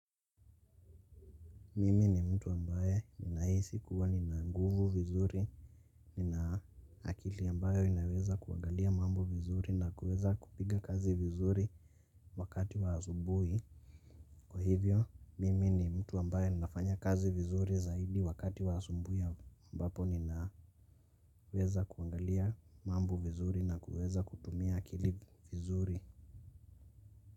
Mimi ni mtu ambaye ninahisi kuwa nina nguvu vizuri. Ninaakili ambayo inaweza kuangalia mambo vizuri na kuweza kupiga kazi vizuri wakati waasubuhi. Kwa hivyo, mimi ni mtu ambaye ninafanya kazi vizuri zaidi wakati wa asubuhi ya ambapo nina weza kuangalia mambo vizuri na kuweza kutumia akili vizuri.